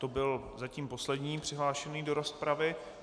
To byl zatím poslední přihlášený do rozpravy.